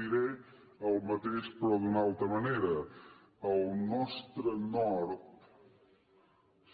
diré el mateix però d’una altra manera el nostre nord